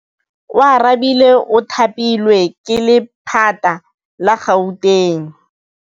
Oarabile o thapilwe ke lephata la Gauteng.